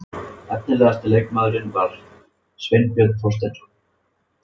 Efnilegasti leikmaðurinn var Sveinbjörn Þorsteinsson.